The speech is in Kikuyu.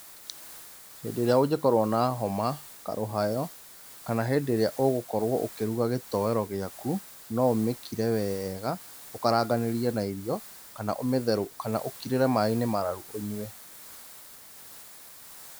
Hĩndĩ ĩrĩa ũngĩkorwo na homa, karũhayo, kana hĩndĩ ĩrĩa ũgũkorwo ũkĩruga gĩtowero gĩaku, no ũmĩkire weega, ũkaranganĩrie na irio, kana ũmĩthe, kana ũkirĩre maĩ-inĩ mararu ũnyue